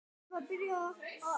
Hvers virði er það?